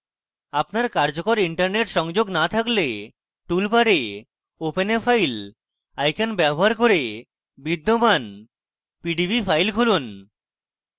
আপনার কার্যকর internet সংযোগ না থাকলে tool bar open a file icon bar করে বিদ্যমান pdb file খুলুন